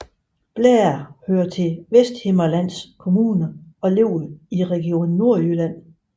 Blære hører til Vesthimmerlands Kommune og ligger i Region Nordjylland